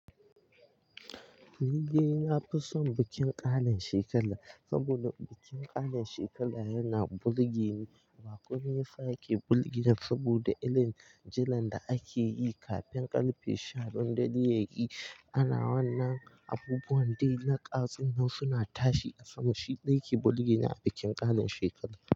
Ni dai na fi son bikin ƙarin shekara. Saboda bikin ƙarin shekara yana bulgeni. Ba komai yasa bulgeni saboda ilin jilan da ake yi kafin ƙarfe sha biyun dare yayi Ana wannan abubuwan dai naƙka sunzo suna tashi a sama. Shi dai ke bulgine a bikin ƙarin shekara.